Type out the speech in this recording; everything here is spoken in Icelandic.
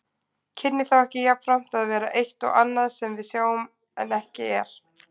Kynni þá ekki jafnframt að vera eitt og annað sem við sjáum en ekki er?